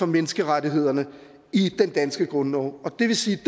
menneskerettighederne i den danske grundlov det vil sige